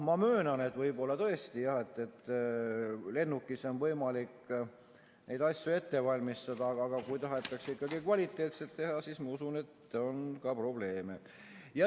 Ma möönan, et võib-olla tõesti lennukis on võimalik neid asju ette valmistada, aga kui tahetakse ikkagi kvaliteetset tööd teha, siis ma usun, et on probleeme.